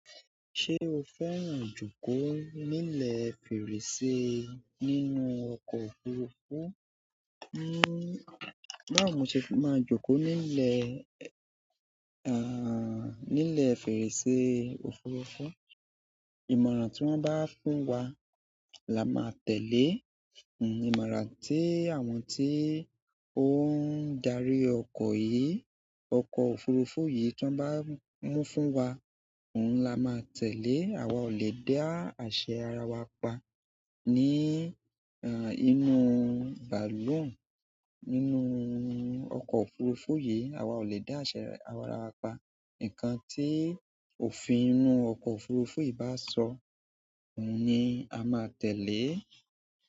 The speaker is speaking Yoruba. Ṣé o fẹ́ràn jókòó nílẹ̀ fèrèsé nínú ọkọ̀ òfurufú? Báwo mo ṣe máa jókòó nílẹ̀, ah, nílẹ̀ fèrèsé òfurufú? Ìmọ̀ràn tí wọ́n bá fún wa la máa tẹ̀lé. Hmm, ìmọ̀ràn tí àwọn tí ó ń darí ọkọ̀ yìí, ọkọ̀ òfurufú yìí tí wọ́n bá mú fún wa, ohun la máa tẹ̀lé. Àwa ò lè dá àṣẹ ara wa pa ní, ah, inú bàlùn. Inú oko òfuurufú yìí, a wa o le da ase ara wa pa ǹkan tí òfin inú ọkọ̀ òfurufú yìí bá sọ, ohun ni a máa tẹ̀lé.